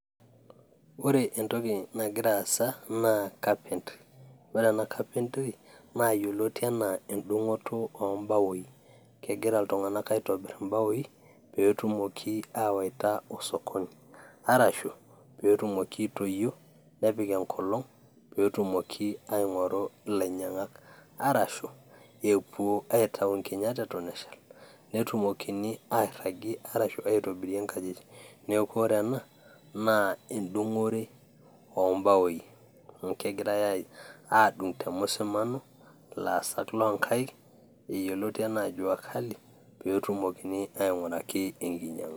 Ore entoki nagira aasa naa capentry ore ena carpentry naa yioloti enaa endung'oto oombaoi kegira iltung'anak aitobirr imbaoi peetumoki aawaita osokoni arashu peetumoki aitoyio nepik enkolong peetumoki aing'oru ilainyiang'ak arashu epuo aitau inkinyat eton eshal netumokini airragie arashu aitobirie inkajijik neeku ore ena naaendung'ore oombaoi amu kegiray aadung te musameno ilaasak loonkaik eyioloti enaa jua kali peetumoki aing'uraki enkiny'ianga.